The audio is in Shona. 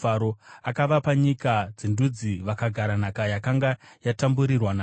akavapa nyika dzendudzi, vakagara nhaka yakanga yatamburirwa navamwe,